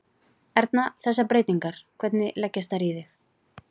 Erna, þessar breytingar, hvernig leggjast þær í þig?